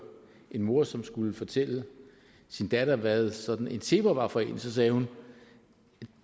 en mor som skulle fortælle sin datter hvad sådan en zebra er for en og så sagde hun